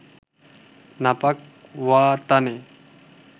নাপাক ওয়াতানে